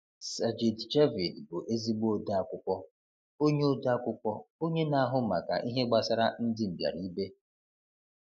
Sajid Javid bụ ezigbo odeakwụkwọ, onye odeakwụkwọ, onye na-ahụ maka ihe gbasara ndị mbịara ibe.